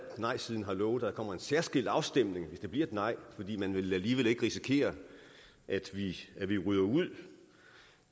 nejsiden har lovet at der kommer en særskilt afstemning hvis det bliver et nej fordi man alligevel ikke vil risikere at vi ryger ud